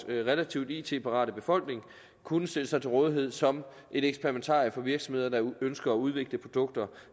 relativt it parat befolkning kunne stille sig til rådighed som et eksperimentarium for virksomheder der ønsker at udvikle produkter